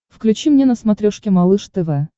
включи мне на смотрешке малыш тв